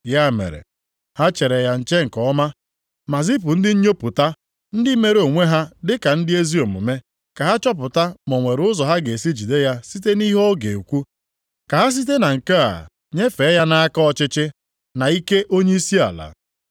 Ya mere, ha chere ya nche nke ọma, ma zipụ ndị nnyopụta, ndị mere onwe ha dịka ndị ezi omume, ka ha chọpụta ma o nwere ụzọ ha ga-esi jide ya site nʼihe ọ ga-ekwu, ka ha site na nke a nyefee ya nʼaka ọchịchị na ike onyeisi ala.